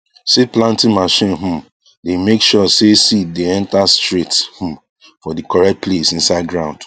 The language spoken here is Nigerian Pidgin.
seed planting machine um dey make sure say seed dey enter straight um for the correct place inside ground